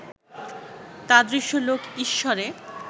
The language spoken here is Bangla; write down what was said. তাদৃশ লোক ঈশ্বরে